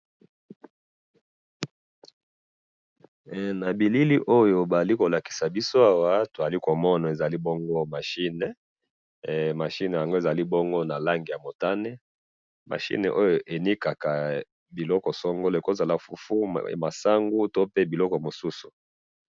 na bilili oyo bazali kolakisa biso awa tozali komona ezali bongo machine machine yango ezali bongo na langi ya motane machine oyo elikaka biloko songolo ekozala fufu masangu to pe biloko mosusu